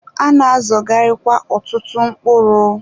A na-azọgharịkwa ọtụtụ mkpụrụ.